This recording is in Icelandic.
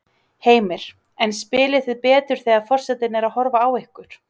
Heimir: En spilið þið betur þegar að forsetinn er að horfa á ykkur?